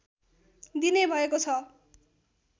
दिने भएको छ